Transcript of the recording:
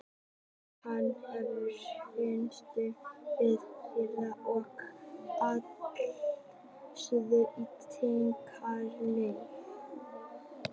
Hann hefur fundist við Írland og allt suður til Kanaríeyja.